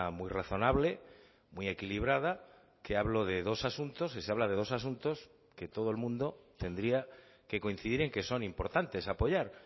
muy razonable muy equilibrada que hablo de dos asuntos y se habla de dos asuntos que todo el mundo tendría que coincidir en que son importantes apoyar